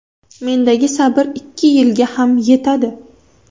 Mendagi sabr ikki yilga ham yetadi.